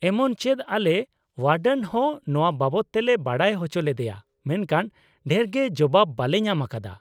ᱮᱢᱚᱱ ᱪᱮᱫ ᱟᱞᱮ ᱳᱭᱟᱰᱮᱱ ᱦᱚᱸ ᱱᱚᱶᱟ ᱵᱟᱵᱚᱛ ᱛᱮᱞᱮ ᱵᱟᱰᱟᱭ ᱚᱪᱚ ᱞᱮᱫᱮᱭᱟ ᱢᱮᱱᱠᱷᱟᱱ ᱰᱷᱮᱨᱜᱮ ᱡᱚᱵᱟᱵ ᱵᱟᱞᱮ ᱧᱟᱢ ᱟᱠᱟᱫᱟ ᱾